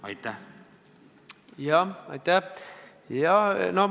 Aitäh!